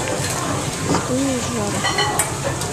спылу сжару